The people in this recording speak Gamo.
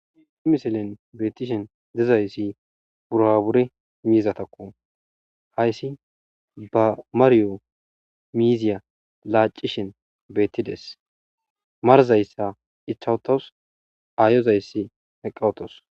Ha missilen bettishe diizayssi burabure miizatakko hayssi ba maariyo miiziya laccashin bettides maarazasi ichcha uttawsu ayozayssi eqqa uttawusu.